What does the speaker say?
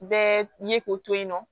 Bɛɛ ye k'o to yen nɔ